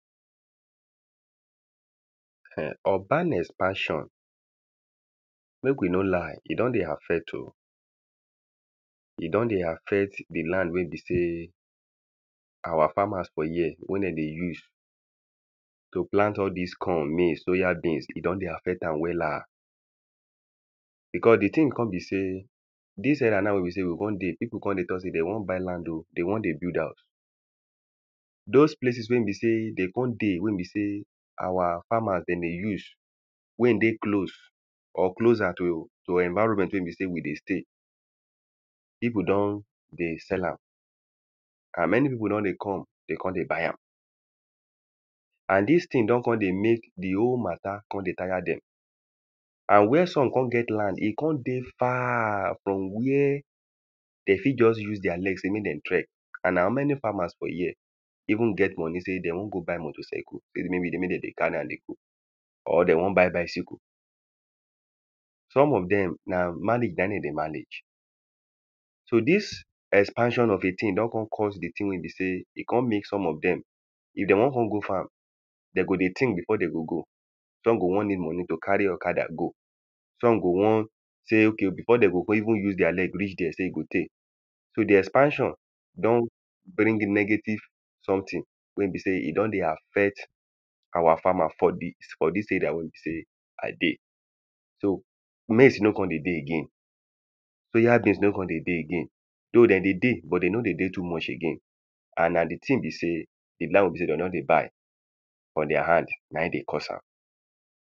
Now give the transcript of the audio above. [um]urban espasion mek we no lie e don dey affect oh e don dey affect di land we be sey our farmers for here wen den dey use to plant all dis corn, maize, soyabeans e don dey affect am wella becouse di tin kon be sey dis era na we be say we kon dey pipu kon dey talk say dey won buy land [o] dey won build haus those places wen be sey de kon dey we be sey our farmers de dey use wen dey close or closer to environment we be sey we dey stay pipu don dey sell am and many pipu don dey kon dey buy am and dis tin don won dey mek di wholematta do kon dey tire dem and where some kon get land e kon dey far from where de fit just use their leg sey me den trek and how many farmers for here even get moni sey de won go buy motorcyle sey me den dey carry am dey go or de won buy bicycle some of dem na manage den dey manage so this expansion of a tin don kon cause di tin we be sey some of dem if de won go farm de go dey think before den go go some go won need moni to carry okada go some go won say ok before den go even use their leg reach there sey e go tey so di expansion don bring negative sometin we be sey e don dey affect our farmer for dis for this area wen be sey i dey so maize no kon de dey again soyabeans no kon dey dey again though den dey dey but dey no kon dey dey too much again and na di tin be sey di land we be sey de don dey buy from their hand nain dey cause am